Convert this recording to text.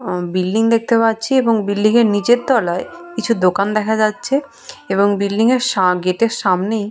আহঃ building দেখতে পাচ্ছি এবং বিল্ডিং -এর নিচের তলায় কিছু দোকান দেখা যাচ্ছে এবং বিল্ডিং -এর সা গেট এর সামনেই--